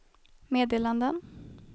meddelanden